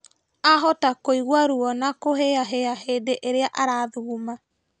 Ahota kũigua ruo na kũhĩahĩa hĩndĩ ĩrĩa arathuguma